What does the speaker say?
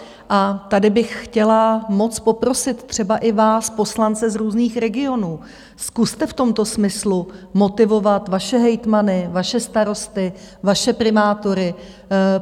A tady bych chtěla moc poprosit třeba i vás poslance z různých regionů: Zkuste v tomto smyslu motivovat vaše hejtmany, vaše starosty, vaše primátory.